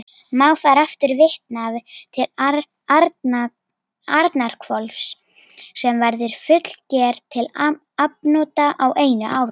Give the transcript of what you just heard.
Má þar aftur vitna til Arnarhvols, sem verður fullger til afnota á einu ári.